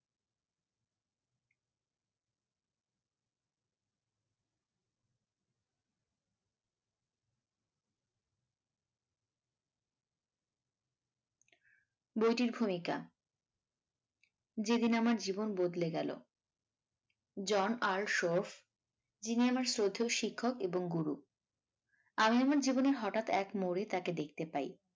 বইটির ভূমিকা ‍যেদিন আমার জীবন বদলে গেল জন আর শফ যিনি আমার শ্রদ্ধেয় শিক্ষক এবং গুরু আমি আমার জীবনে হঠাৎ এক মোড়ে তাকে দেখতে পাই।